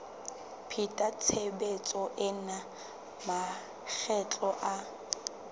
pheta tshebetso ena makgetlo a